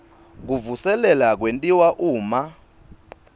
kuvuselela kwentiwa uma